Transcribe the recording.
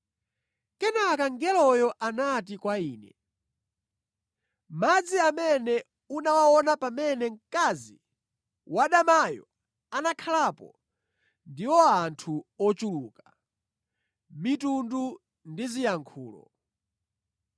Kenaka mngeloyo anati kwa ine, “Madzi amene unawaona pamene mkazi wadamayo anakhalapo ndiwo anthu ochuluka, mitundu ndi ziyankhulo.